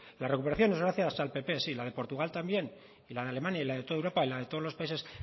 la recuperación es gracias al pp sí la de portugal también y la de alemania y la de toda europa y la de todos los países